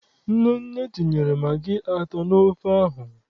Nnenne tinyere magị atọ n'ofe ahụ.